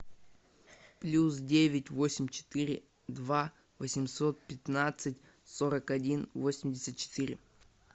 плюс девять восемь четыре два восемьсот пятнадцать сорок один восемьдесят четыре